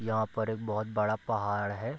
यहाँ पर एक बहुत बड़ा पहाड़ है।